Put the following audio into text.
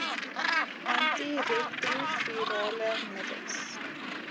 anti retrovirale middels